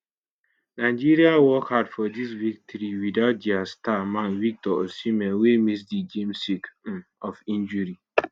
nigeria work hard for dis victory without dia star man victor osimhen wey miss di game sake um of injury